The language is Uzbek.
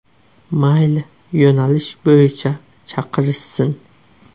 Mayli, yo‘nalish bo‘yicha chaqirishsin.